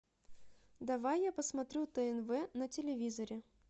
давай я посмотрю тнв на телевизоре